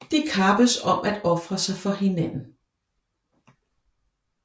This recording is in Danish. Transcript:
De kappes om at ofre sig for hinanden